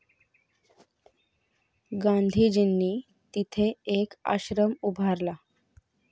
गांधीजींनी तिथे एक आश्रम उभारला